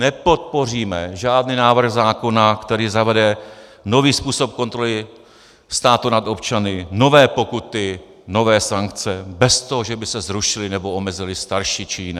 Nepodpoříme žádný návrh zákona, který zavede nový způsob kontroly státu nad občany, nové pokuty, nové sankce bez toho, že by se zrušily nebo omezily starší či jiné.